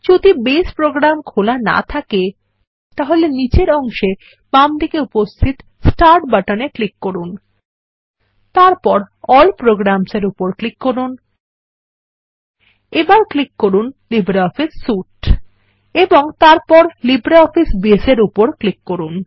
যদি base program খোলা না থাকে তাহলে নীচের অংশে বাঁদিকে উপস্থিত স্টার্ট বাটন এ ক্লিক করুন তারপর এএলএল programs এর উপর ক্লিক করুন এবার ক্লিক করুন লিব্রিঅফিস সুইতে এবং তারপর লিব্রিঅফিস বেস এর উপর ক্লিক করুন